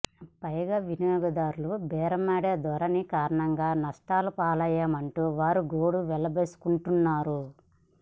పైగా వినియోగదారుల బేరమాడే ధోరణి కారణంగా నష్టాల పాలయ్యామంటూ వారు గోడు వెళ్లబోసుకుంటున్నారు